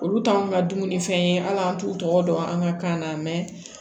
Olu t'anw ka dumuni fɛn ye hali an t'u tɔgɔ dɔn an ka kan na